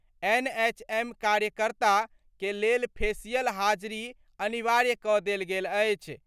NHM कार्यकर्ता के लेल फेशियल हाजिरी अनिवार्य क' देल गेल अछि।